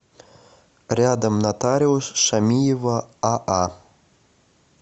рядом нотариус шамиева аа